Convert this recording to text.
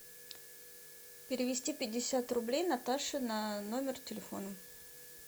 перевести пятьдесят рублей наташе на номер телефона